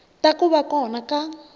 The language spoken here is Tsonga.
ta ku va kona ka